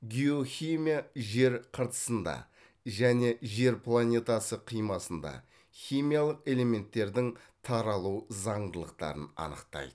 геохимия жер қыртысында және жер планетасы қимасында химиялық элементтердің таралу заңдылықтарын анықтайды